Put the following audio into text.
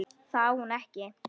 Það á hún ekki.